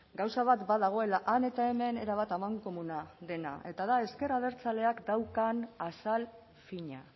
gauza bat badagoela han eta hemen erabat amankomuna eta da ezker abertzaleak daukan azal fina